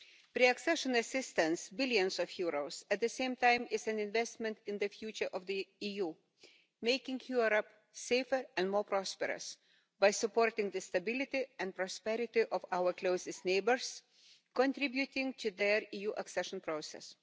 Pre accession assistance billions of euros is at the same time an investment in the future of the EU, making Europe safer and more prosperous by supporting the stability and prosperity of our closest neighbours and contributing to their EU accession process.